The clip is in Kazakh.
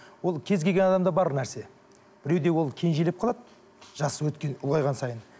ол кез келген адамда бар нәрсе біреуде ол кенжелеп қалады жасы өткен ұлғайған сайын